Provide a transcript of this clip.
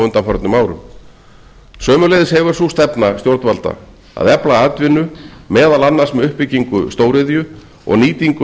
undanförnum árum sömuleiðis hefur sú stefna stjórnvalda að efla atvinnu meðal annars með uppbyggingu stóriðju og nýtingu